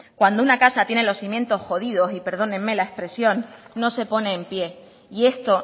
cuando una casa tiene los cimientos jodidos y perdónenme la expresión no se pone en pie y esto